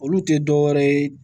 Olu tɛ dɔ wɛrɛ ye